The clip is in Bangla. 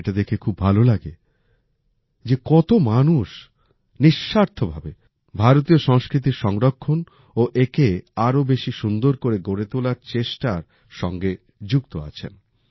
আমার এটা দেখে খুব ভালো লাগে যে কত মানুষ নিঃস্বার্থভাবে ভারতীয় সংস্কৃতির সংরক্ষণ ও একে আরো বেশি সুন্দর করে গড়ে তোলার চেষ্টা সাথে যুক্ত আছেন